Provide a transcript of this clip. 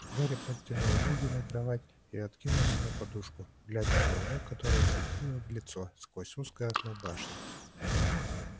гарри подтянул ноги на кровать и откинулся на подушку глядя на луну которая светила в лицо сквозь узкое окно башни